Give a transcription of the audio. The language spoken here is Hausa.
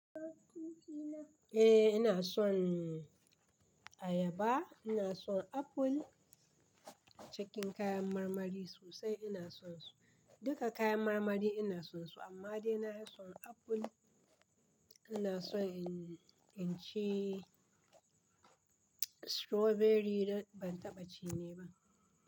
Eh ina son ayaba, ina son apple, cikin kayan marmari sosai ina son su. Duka kayan marmari ina son su amma dai na fi son apple, ina son in ci strawberry don ban taɓa ci ne ba.